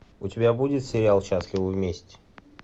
у тебя будет сериал счастливы вместе